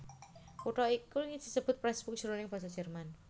Kutha iki disebut Pressburg jroning basa Jerman